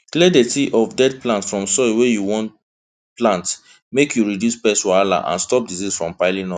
clear dirty of dead plant from soil wey you wan use plant make you reduce pest wahala and stop disease from piling up